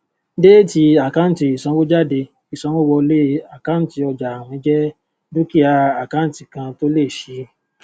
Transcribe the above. déètì àkáǹtì ìsanwójáde ìsanwówọlé àkáǹtì ọjààwìn jẹ dúkìá àkáǹtì kan tó ń lé sí i